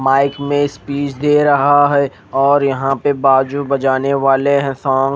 mic में speech दे रहा है और यहा पे बाजु बजाने वाले है सा--